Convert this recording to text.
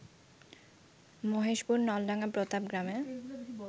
মহেশপুর, নলডাঙ্গা, প্রতাপ গ্রামে